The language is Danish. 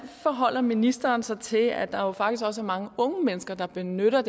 forholder ministeren sig til at der jo faktisk også er mange unge mennesker der benytter